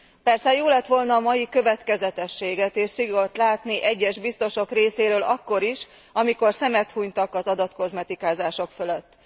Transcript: Persze jó lett volna a mai következetességet és szigort látni egyes biztosok részéről akkor is, amikor szemet hunytak az adatkozmetikázások fölött.